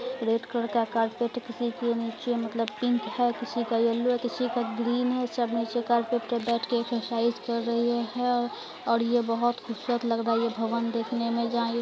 red colour का carpet किसे के नीचे मतलब पिंक है किसी का येल्लो है किसी का ग्रीन है सब में से कारपेट पे बैठ के एक्सरसाइज कर रही है और और ये बहुत खुबसूरत लग रहा है ये भवन देखने में जहाँ ये --